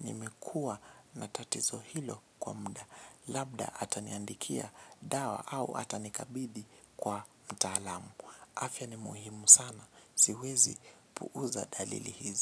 Nimekua na tatizo hilo kwa mda. Labda ataniandikia dawa au atanikabidhi kwa mtaalamu. Afya ni muhimu sana, siwezi puuza dalili hizi.